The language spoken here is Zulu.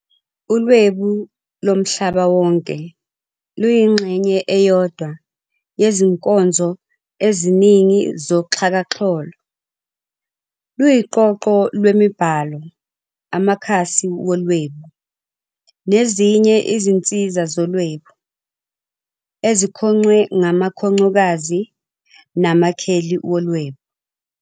ULwebu loMhlaba Wonke luyingxenye eyodwa yezinkonzo eziningi zoxhakaxholo, luyiqoqoq lwemibhalo, amakhasi wolwebu, nezinye izinsiza zolwebu, ezikhongcwe ngamakhongcokazi namakheli wolwebu.